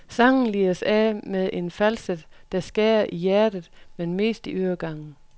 Sangen lires af med en falset, der skærer i hjertet, men mest i øregangen.